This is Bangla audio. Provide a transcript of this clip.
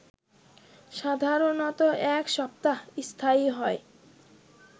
সাধারণত এক সপ্তাহ স্থায়ী হয়